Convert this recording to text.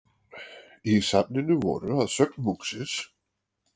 Í safninu voru að sögn munksins